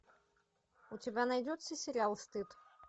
у тебя найдется сериал стыд